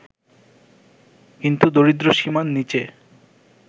কিন্তু দরিদ্রসীমার নিচে